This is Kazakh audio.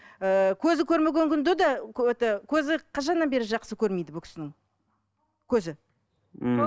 ыыы көзі көрмеген күнде де это көзі қашаннан бері жақсы көрмейді бұл кісінің көзі мхм